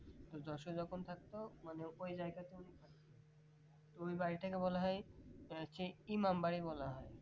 যশোরে যখন থাকতো মানে ওই জায়গাতে ওই বাড়িটাকে বলা হয় ইমামবাড়ী বলা হয়